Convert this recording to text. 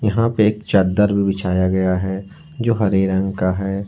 यहां पे एक चद्दर भी बिछाया गया है जो हरे रंग का है।